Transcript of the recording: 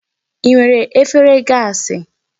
I nwere efere gaasị?